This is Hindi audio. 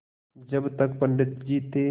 जब तक पंडित जी थे